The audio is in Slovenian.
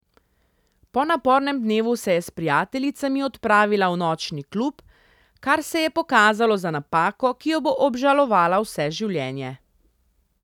Po napornem dnevu se je s prijateljicami odpravila v nočni klub, kar se je pokazalo za napako, ki jo bo obžalovala vse življenje.